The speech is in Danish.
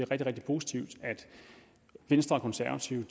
rigtig positivt at venstre og konservative